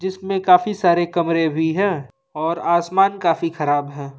इसमें काफी सारे कमरे भी हैं और आसमान काफी खराब है।